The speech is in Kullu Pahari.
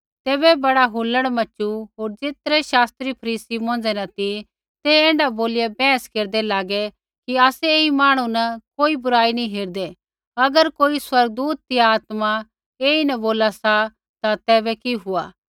तैबै बड़ा हुलड़ मच़ू होर ज़ेतरै शास्त्री फरीसी मौंझ़ै न ती ते ऐण्ढा बोलिया बैहस केरदै लागै कि आसै ऐई मांहणु न कोई बुराई नी हेरदै अगर कोई स्वर्गदूत या आत्मा ऐईन बोला सा ता तैबै कि हुआ